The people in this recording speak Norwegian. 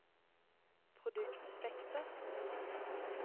produktspekter